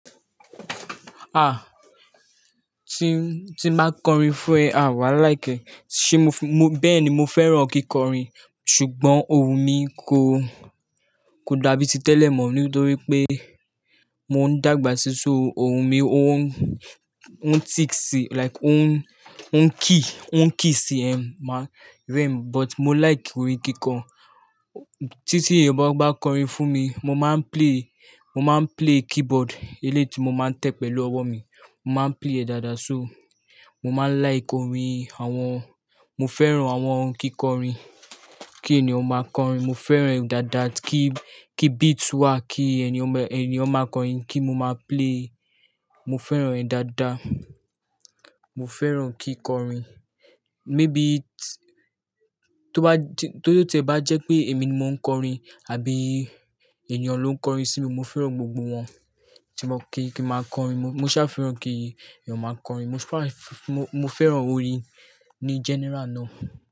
Ah, tí n, tí n báa kọrin fún ẹ, à wá like ẹ, ṣé mo fún-- bẹ́ẹ̀ ni mo fẹ́ràn kíkọrin. Ṣùgbọ́n ohùn mi kò, kò dàbí ti tẹ́lẹ̀ mọ́ nítorí pé mò ń dàgbà sí so, ohùn mi ò n, ò n thick si like ò n, ò n kii, ò n kii si ẹ́, máa rẹ́ mi but mo like orin kíkọ. Tí, tí ẹyan báa bá kọrin fún mi, mo máa ń play, mo máa ń play keyboard eléyi ti mo máa ń tẹ̀ pẹ̀lú ọwọ́ mi. Mo máa ń play ẹ̀ dáadáa só. Mo máa like orin àwọn-- mo fẹ́ràn àwọn kíkọrin. Kí ènìyàn máa kọrin, mo fẹ́ràn ẹ̀ dáadáa. Kí, kí beats wà, kí ènìyàn má, ènìyàn máa kọrin, kí mo máa play. Mo fẹ́ràn ẹ̀ dáadáa. Mo fẹ́ràn kíkọrin. Maybe tó bá jẹ́, tó, tó jẹ́ tí ẹ̀ bá jẹ́ pé èmi ni mò ń kọrin àbí ènìyàn ló ń kọrin sí mi, mo fẹ́ràn gbogbo wọn. Tí mo kí, kí ma kọrin, mo ṣá fẹ́ràn kí ènìyàn máa kọrin. Mo fẹ́ràn orin ni general ná.